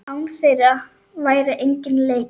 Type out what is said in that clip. Án þeirra væri enginn leikur.